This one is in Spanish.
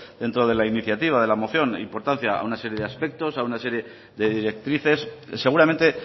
dentro de la iniciativa de la moción importancia a una serie de aspectos a una serie de directrices seguramente